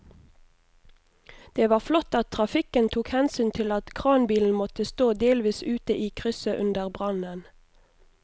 Det var flott at trafikken tok hensyn til at kranbilen måtte stå delvis ute i krysset under brannen.